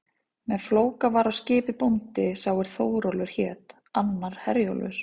Með Flóka var á skipi bóndi sá er Þórólfur hét, annar Herjólfur.